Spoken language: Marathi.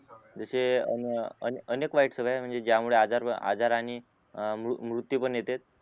जसे अ अन अनेक वाईट सवय म्हण्जे ज्यामुळे आजार व आजार आणि मृ मृत्यू पण येत